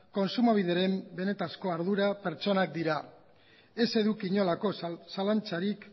kontsumobideren benetako ardura pertsonak dira ez eduki inolako zalantzarik